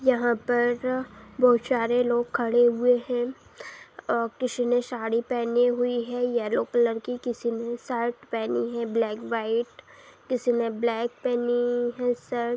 यहाँ पर बहुत शारे लोग खड़े हुए हैं। अ किसी ने साड़ी पहनी हुई है येलो कलर की किसी ने शर्ट पहनी है ब्लैक बाइट किसी ने ब्लैक पहनी है शर्ट ।